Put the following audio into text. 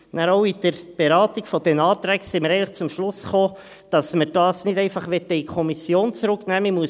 Wir kamen in der Beratung der Anträge dann eigentlich auch zum Schluss, dass wir das nicht einfach in die Kommission zurücknehmen möchten.